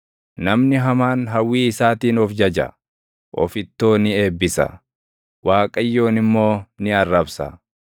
Namni hamaan hawwii isaatiin of jaja; ofittoo ni eebbisa; Waaqayyoon immoo ni arrabsa.